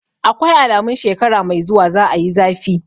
Akwai alamun shekara mai zuwa za a yi zafi.